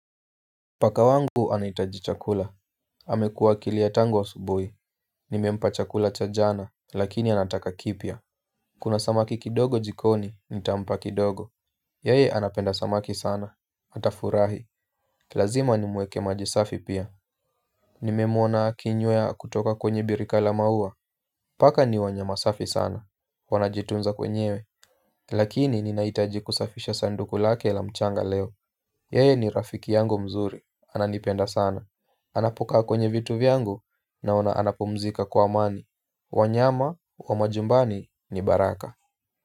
Paka wangu anahitaji chakula. Amekua akilia tangu asubuhi. Nimempa chakula cha jana, lakini anataka kipya. Kuna samaki kidogo jikoni, nitampa kidogo. Yeye anapenda samaki sana. Atafurahi. Lazima nimwekee maji safi pia. Nimewmona akinywea kutoka kwenye birika la maua. Paka ni wanyama safi sana. Wanajitunza wenyewe. Lakini ninahitaji kusafisha sanduku lake la mchanga leo. Yeye ni rafiki yangu mzuri. Ananipenda sana. Anapokaa kwenye vitu vyangu naona anapumzika kwa amani. Wanyama wa majumbani ni baraka.